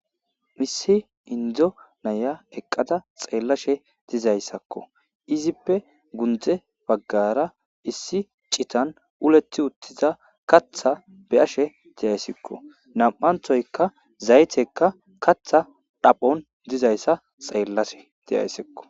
Issi indo naya eqqada xeellashe dizaysakko. Izippe guye baggara issi cittan uleti utida kaththa be'eash dasikko. Nam'aththoyka zaytekka kaththa dhaphon dizayssa xeellashe de'asikko.